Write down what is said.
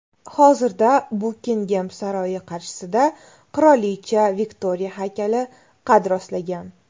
Hozirda Bukingem saroyi qarshisida qirolicha Viktoriya haykali qad rostlagan.